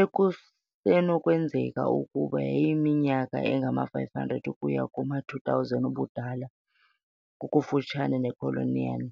ekusenokwenzeka ukuba yayineminyaka engama-500 ukuya kuma-2,000 ubudala, kufutshane neCalçoene.